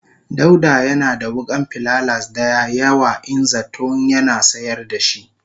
dauda Yana da wukan pilalas daya yawa in zaton Yana sayar dashi.